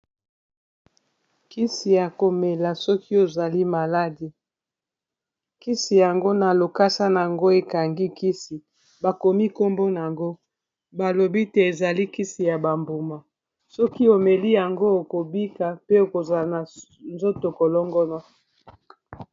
kisi ya komela soki ozali na maladi kisi yango na lokasa na yango ekangi kisi bakomi kombo na yango balobi te ezali kisi ya bambuma soki omeli yango okobika pe okozala na nzoto kolongono